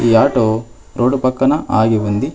ఈ auto road పక్కన ఆగి ఉంది.